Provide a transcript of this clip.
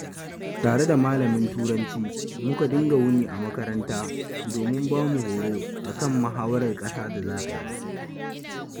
Tare da malamin Turanci muka dinga wuni a makaranta domin bamu horo a kan muhawarar ƙasa da za a yi.